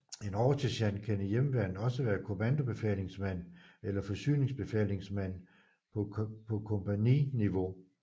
En oversergent kan i Hjemmeværnet også være kommandobefalingsmand eller forsyningsbefalingsmand på kompagniniveau